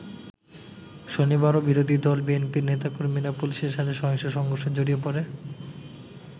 শনিবারও বিরোধী দল বিএনপির নেতাকর্মীরা পুলিশের সাথে সহিংস সংঘর্ষে জড়িয়ে পড়ে।